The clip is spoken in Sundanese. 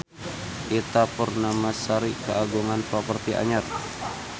Ita Purnamasari kagungan properti anyar